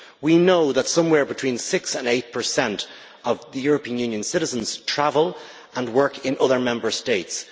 We know that somewhere between 6 and 8 of European Union citizens travel and work in other Member States.